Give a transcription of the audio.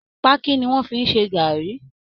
Pákí ni wọ́ fi ń ṣẹ gaàrí